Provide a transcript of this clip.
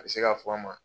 A bɛ se ka fɔ an ma